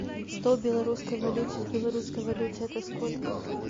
сто белорусской валюте в белорусской валюте это сколько